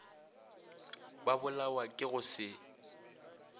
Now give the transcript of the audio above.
ba bolawa ke go se